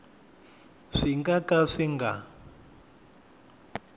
swi nga ka swi nga